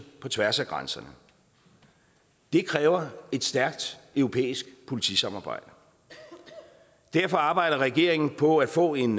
på tværs af grænserne det kræver et stærkt europæisk politisamarbejde derfor arbejder regeringen på at få en